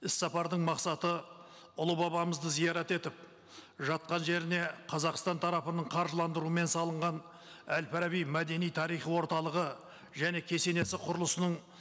іс сапардың мақсаты ұлы бабамызды зиярат етіп жатқан жеріне қазақстан тарапының қаржыландыруымен салынған әл фараби мәдени тарихи орталығы және кесенесі құрылысының